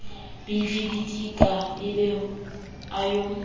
bidibidika a be a yo